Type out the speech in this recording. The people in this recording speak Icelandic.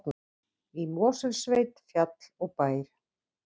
Í Mosfellssveit, fjall og bær.